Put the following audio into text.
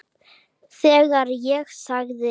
Þegar ég sagði